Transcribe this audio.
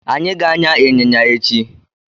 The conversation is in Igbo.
Anyị ga-an̄ya ịnyịnya echi.